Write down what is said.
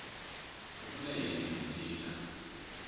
u vula yini hi ntila